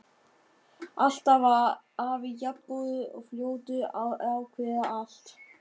Alltaf var afi jafn góður og fljótur að ákveða allt.